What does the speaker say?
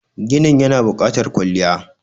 ginin yana bukatar kwalliya